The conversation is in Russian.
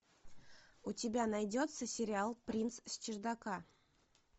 у тебя найдется сериал принц с чердака